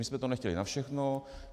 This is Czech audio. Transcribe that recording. My jsme to nechtěli na všechno.